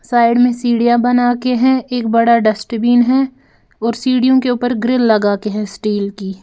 Side में सीढ़ियां बना के हैं एक बड़ा डस्टबिन है और सीढ़ियों के ऊपर ग्रिल लगा के है स्टील की।